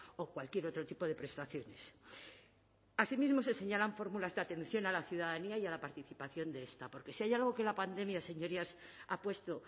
o cualquier otro tipo de prestaciones asimismo se señalan fórmulas de atención a la ciudadanía y a la participación de esta porque si hay algo que la pandemia señorías ha puesto